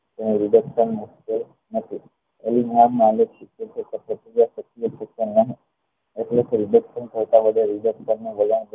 જ્યારે નું વલણ કરવું